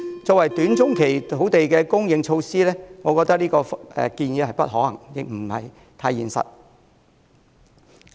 作為短中期的土地供應措施，我覺得這項建議不太可行，亦不太現實。